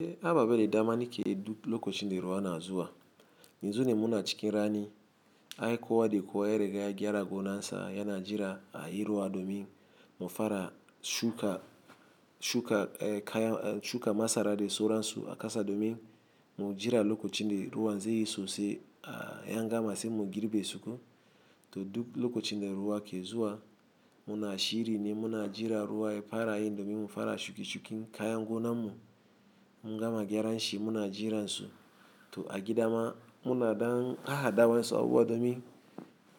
Eh a babbe da dama ni ke duk lokacin da ruwa na zuwa. Yanzu ne muna cikin rani, ai kowa da kowa ya riga ya gyara gonansa yana jira a yi ruwa domin mu fara shuka, shuka, eh kaya, eh shuka masara da sauransu a kasa domin mu jira lokacin da ruwan zai yi sosai ah, angama sai mu girbe su ko. To duk lokacin da ruwa ke zuwa, muna shiri ne muna jira ruwa ya fara yin domin mu fara shuke-shuken kayan gonanmu. Mun gama gyaran shi muna jira su. To a gida ma muna dan ha-hadawan su abu domin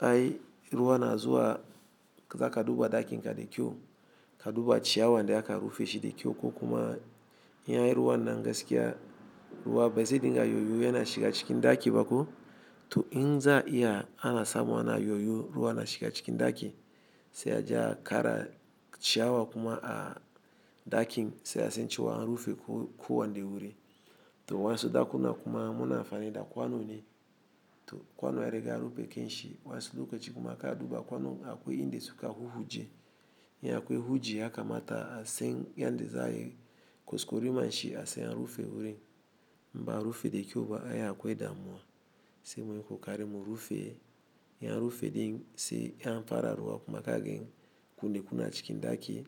ai ruwa na zuwa, za ka duba ɗakin ka da kyau. Ka duba ciyawan da aka rufe shi da kyau ko kuma in ya yi ruwa nan gaskiya, ruwa bai zai dinga yoyo yana shiga cikin ɗaki ba ko. To in za'a iya ana samu ana yoyo ruwa na shiga cikin ɗaki, sai a je a kara ciyawa kuma a ɗakin sai a san cewa an rufe ko-ko wani da wuri. To waɗansu ɗakuna kuma muna amfani da kwano ne. To kwano ya riga ya rufe kanshi waɗansu lokaci kuma ka duba kwano akwai inda suka huhuje. In akwai huji ya kamata a san yanda za a yi kwaskwariman shi a sayan rufe wuri. In ba'a rufe da kyau ba ai akwai damuwa. Sai muyi kokare mu rufe, in an rufe din sai an fara ruwa kuma kagani kunne kuna cikin ɗaki,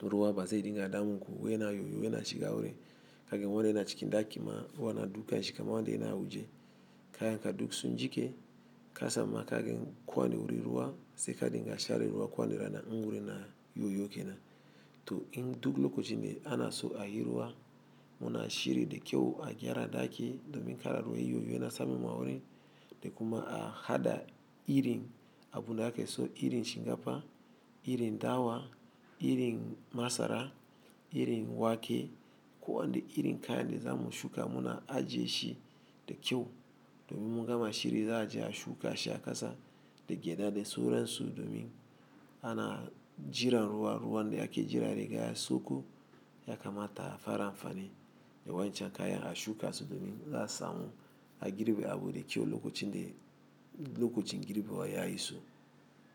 ruwa ba zai dinga damu ko yana yoyo yana shiga wuri. Kaga wurin wanda yana cikin ɗaki ma ruwa na duka shi kamar wanda yana hujje. Kayan ka duk sun jiƙe, ka samu ma kagen ko wane wuri ruwa sai ka dinga share ruwa ko wanda rana in wuri na yoyo ke nan. To in duk lokacin da ana so a yi ruwa, muna shiri da kyau a gyara ɗaki domin kar ruwa yoyo yana samun ma wuri da kuma a haɗa irin abu da ake so irin shinkafa, irin dawa, irin masara, irin wake, ko wane irin kaya ne da za mu shuka muna ajiye shi da kyau domin mun gama shiri za a je a shuka shi a kasa da gyada da sauransu domin ana jiran ruwa. Ruwan da ake jira ya riga ya sauko, ya kamata a fara amfani da wancan kayan a shuka su domin za su samu a girbe abu da kyau lokacin da, lokacin girbewa ya iso.